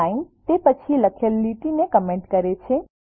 sign તે પછી લખેલ લીટીને કમેન્ટ કરે છે